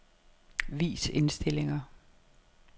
Vis indstillinger.